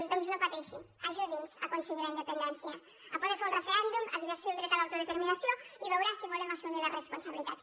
doncs no pateixi ajudi’ns a aconseguir la independència a poder fer un referèndum a exercir el dret a l’autodeterminació i veurà si volem assumir les responsabilitats